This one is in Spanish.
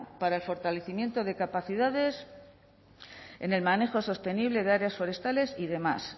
para el fortalecimiento de capacidades en el manejo sostenible de áreas forestales y demás